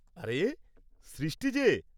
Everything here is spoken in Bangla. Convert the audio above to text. আরে, সৃষ্টি যে!